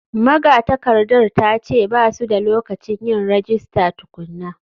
Magatakardar ta ce ba su da lokacin yin rajista tukuna.